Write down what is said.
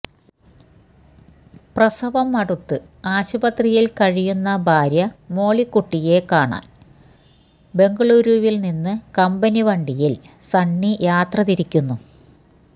പ്രസവം അടുത്ത് ആശുപത്രിയിൽ കഴിയുന്ന ഭാര്യ മോളിക്കുട്ടിയെ കാണാൻ ബെംഗളൂരുവില്നിന്നു കമ്പനി വണ്ടിയിൽ സണ്ണി യാത്ര തിരിക്കുന്നു